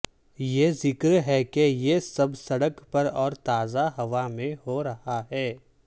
یہ ذکر ہے کہ یہ سب سڑک پر اور تازہ ہوا میں ہو رہا ہے